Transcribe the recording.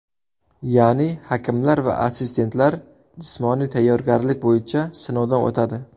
Ya’ni hakamlar va assistentlar jismoniy tayyorgarlik bo‘yicha sinovdan o‘tadi.